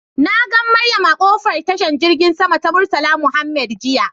Nagan Mariam a kofar tashan girgin sama ta murtala Mohammed jiya.